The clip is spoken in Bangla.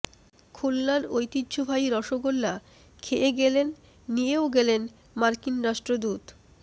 খুলনার ঐতিহ্যবাহী রসগোল্লা খেয়ে গেলেন নিয়েও গেলেন মার্কিন রাষ্ট্রদূত